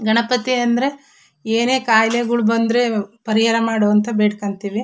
ಗಣಪತಿ ಅಂದ್ರೆ ಏನೇ ಕಾಯಲೆಗಳು ಬಂದ್ರೆ ಪರಿಹಾರ ಮಾಡು ಅಂತ ಬೇಡಕೊಂತ್ತೀವಿ.